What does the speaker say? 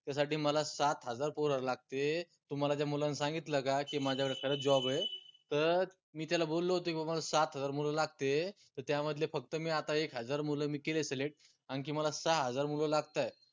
त्यासाठी मला सात हजार पोर लागते तुम्हाला त्या मुलानं सांगितलं का की माझ्याकडे खरंच job ए त मी त्याला बोललो होतो की बा मला सात हजार मुलं लागते त त्यामधले फक्त मी आता एक हजार मुलं मी केले select आनखी मला सहा हजार मुलं लागताय